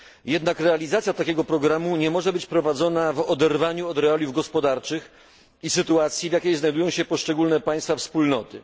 Jednak realizacja takiego programu nie może być prowadzona w oderwaniu od realiów gospodarczych i sytuacji, w jakiej znajdują się poszczególne państwa wspólnoty.